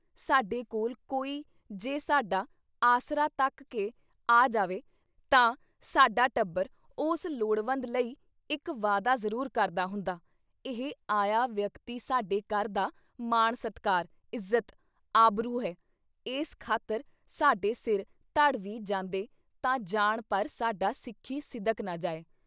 ਸਾਡੇ ਕੋਲ ਕੋਈ ਜੇ ਸਾਡਾ ਆਸਰਾ ਤੱਕ ਕੇ ਆ ਜਾਵੇ ਤਾਂ ਸਾਡਾ ਟੱਬਰ ਉਸ ਲੋੜਵੰਦ ਲਈ ਇੱਕ ਵਾਅਦਾ ਜ਼ਰੂਰ ਕਰਦਾ ਹੁੰਦਾ, ਇਹ ਆਇਆ ਵਿਅਕਤੀ ਸਾਡੇ ਘਰ ਦਾ ਮਾਣ-ਸਤਿਕਾਰ, ਇੱਜ਼ਤ, ਆਬਰੂ ਹੈ, ਇਸ ਖ਼ਾਤਿਰ ਸਾਡੇ ਸਿਰ ਧੜ ਵੀ ਜਾਂਦੇ ਤਾਂ ਜਾਣ ਪਰ ਸਾਡਾ ਸਿੱਖੀ ਸਿਦਕ ਨਾ ਜਾਏ।